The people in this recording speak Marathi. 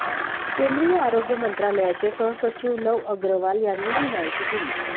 केंद्रीय आरोग्य मंत्रालयाचे सहसचिव लव अग्रवाल यांनी ही माहिती दिली